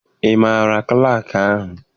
Ị maara klaakị ahụ?